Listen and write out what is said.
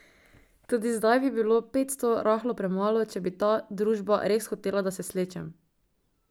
Tudi zdaj bi bilo petsto rahlo premalo, če bi ta družba res hotela, da se slečem.